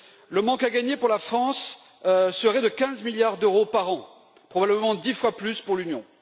Le manque à gagner pour la France serait de 15 milliards d'euros par an, probablement dix fois plus pour l'Union.